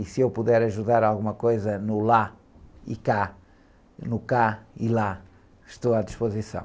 E se eu puder ajudar alguma coisa no lá e cá, no cá e lá, estou à disposição.